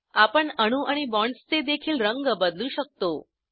आपण अणू आणि बॉण्ड्सचे देखील रंग बदलू शकतो